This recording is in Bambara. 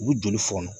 U bɛ joli fɔnɔ